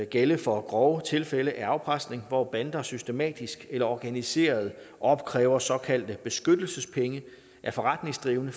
gælde for grove tilfælde af afpresning hvor bander systematisk eller organiseret opkræver såkaldte beskyttelsespenge af forretningsdrivende